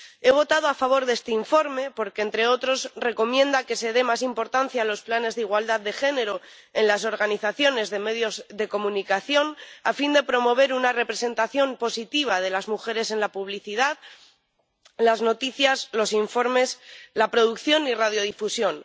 He votado a favor de este informe porque, entre otros, recomienda que se dé más importancia a los planes de igualdad de género en las organizaciones de medios de comunicación, a fin de promover una representación positiva de las mujeres en la publicidad, las noticias, los informes, la producción y la radiodifusión.